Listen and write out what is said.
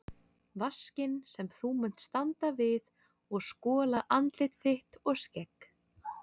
Vaskinn sem þú munt standa við og skola andlit þitt og skegg.